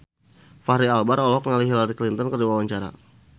Fachri Albar olohok ningali Hillary Clinton keur diwawancara